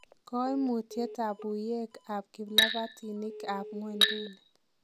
Koimutiet ab uuiek ak kiplabtinik ab nywonduni.